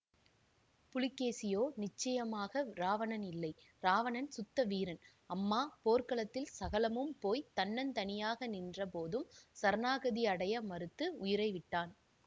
புலிகேசியோ நிச்சயமாக இராவணன் இல்லை இராவணன் சுத்த வீரன் அம்மா போர்க்களத்தில் சகலமும் போய் தன்னந்தனியாக நின்ற போதும் சரணாகதி அடைய மறுத்து உயிரை விட்டான்